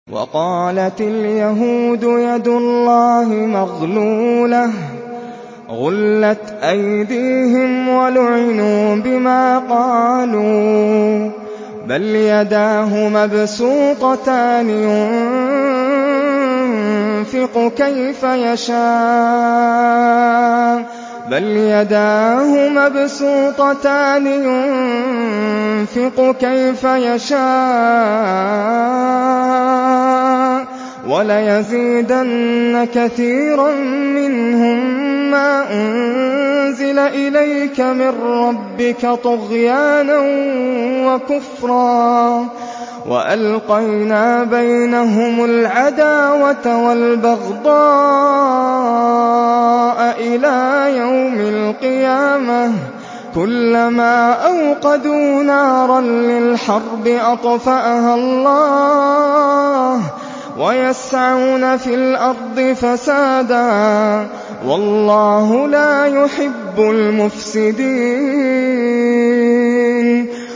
وَقَالَتِ الْيَهُودُ يَدُ اللَّهِ مَغْلُولَةٌ ۚ غُلَّتْ أَيْدِيهِمْ وَلُعِنُوا بِمَا قَالُوا ۘ بَلْ يَدَاهُ مَبْسُوطَتَانِ يُنفِقُ كَيْفَ يَشَاءُ ۚ وَلَيَزِيدَنَّ كَثِيرًا مِّنْهُم مَّا أُنزِلَ إِلَيْكَ مِن رَّبِّكَ طُغْيَانًا وَكُفْرًا ۚ وَأَلْقَيْنَا بَيْنَهُمُ الْعَدَاوَةَ وَالْبَغْضَاءَ إِلَىٰ يَوْمِ الْقِيَامَةِ ۚ كُلَّمَا أَوْقَدُوا نَارًا لِّلْحَرْبِ أَطْفَأَهَا اللَّهُ ۚ وَيَسْعَوْنَ فِي الْأَرْضِ فَسَادًا ۚ وَاللَّهُ لَا يُحِبُّ الْمُفْسِدِينَ